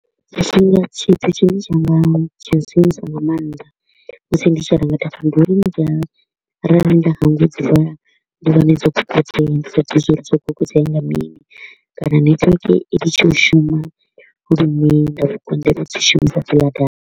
Tshithu tshine tsha nga tsha sinyusa nga maanḓa musi ndi tshi renga data ndi a arali nda hangwa u dzi vala ndi wane dzo fhungudzea ndi sa ḓivhi uri zwa uri dzo fhungudzea nga mini kana network i litshe u shuma lune nda vho konḓelwa u dzi shumisa hedziḽa data.